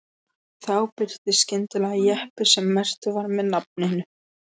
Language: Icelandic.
Þá birtist skyndilega jeppi sem merktur var með nafninu